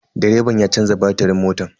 Direban ya canza batirin motan.